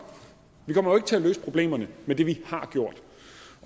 vi kommer jo ikke til at løse problemerne med det vi har gjort